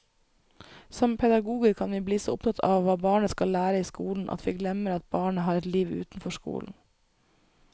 Som pedagoger kan vi bli så opptatt av hva barnet skal lære i skolen at vi glemmer at barnet har et liv utenfor skolen.